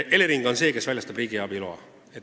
Elering on see, kes väljastab riigiabi loa.